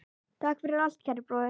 Takk fyrir allt, kæri bróðir.